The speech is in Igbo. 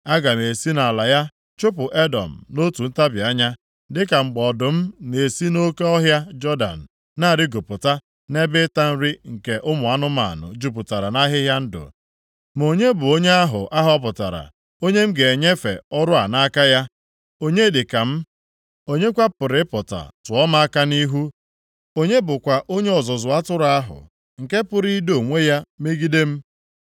“Aga m esi nʼala ya chụpụ Edọm nʼotu ntabi anya, dịka mgbe ọdụm na-esi nʼoke ọhịa Jọdan na-arịgopụta nʼebe ịta nri nke ụmụ anụmanụ jupụtara nʼahịhịa ndụ. Ma onye bụ onye ahụ a họpụtara, onye m ga-enyefe ọrụ a nʼaka ya? Onye dịka m? Onye kwa pụrụ ịpụta tụọ m aka nʼihu? Onye bụkwa onye ọzụzụ atụrụ ahụ nke pụrụ ido onwe ya megide m?”